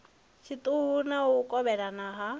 tshiṱuku na u kovhekana ha